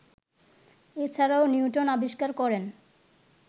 এছাড়াও নিউটন আবিষ্কার করেন